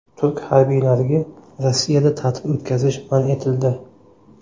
Turk harbiylariga Rossiyada ta’til o‘tkazish man etildi.